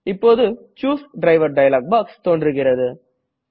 இப்போது choose driver dialog box தோன்றுகிறது